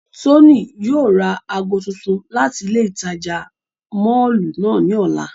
Tony yóò ra aago tuntun lati ile itaja mọllu náa ni ọla.